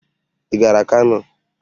Ị gara Kano?